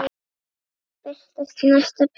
Lausnir birtast í næsta pistli.